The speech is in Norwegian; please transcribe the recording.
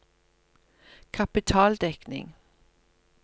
kapitaldekning